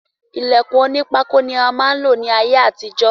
Ilèkùn oní pákó ni a máa lò ní ayé àtijó